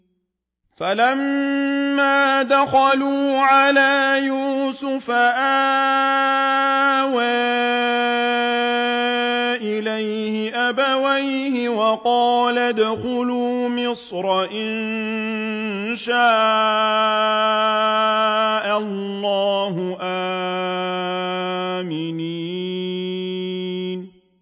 فَلَمَّا دَخَلُوا عَلَىٰ يُوسُفَ آوَىٰ إِلَيْهِ أَبَوَيْهِ وَقَالَ ادْخُلُوا مِصْرَ إِن شَاءَ اللَّهُ آمِنِينَ